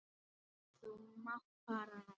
Þú mátt fara núna.